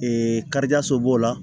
karidɔ so b'o la